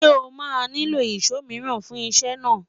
sọ má nilo ìsọ míràn fún isé naa?